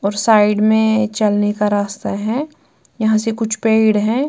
और साइड में चलने का रास्ता है यहां से कुछ पेड़ हैं।